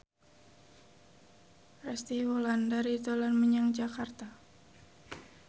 Resty Wulandari dolan menyang Jakarta